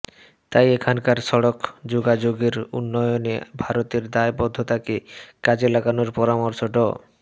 তাই এখানকার সড়ক যোগাযোগের উন্নয়নে ভারতের দায়বদ্ধতাকে কাজে লাগানোর পরামর্শ ড